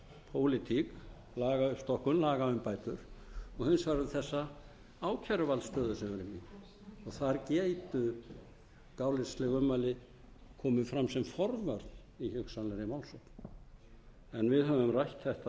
pólitík lagauppstokkun lagaumbætur og hins vegar um þessa ákæruvaldsstöðu sem við erum í þar gætu gáleysisleg ummæli komið fram sem forvörn í hugsanlegri málssókn en við höfum rætt þetta